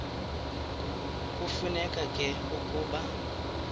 kufuneka ke ukuba